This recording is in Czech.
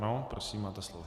Ano, prosím, máte slovo.